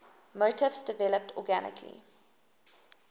motifs developed organically